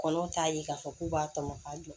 Kɔnɔw t'a ye k'a fɔ k'u b'a tɔmɔ k'a jɔ